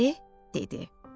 Əri dedi: